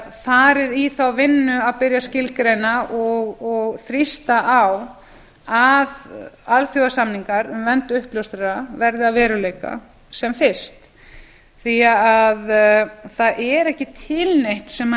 farið í þá vinnu að byrja að skilgreina og þrýsta á að alþjóðasamningar um vernd uppljóstrara verði að veruleika sem fyrst því að það er ekki til neitt sem